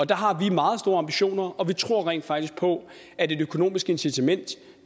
der har vi meget store ambitioner og vi tror rent faktisk på at et økonomisk incitament